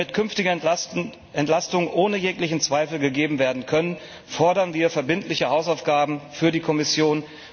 Damit künftige Entlastungen ohne jeglichen Zweifel gegeben werden können, fordern wir verbindliche Hausaufgaben für die Kommission.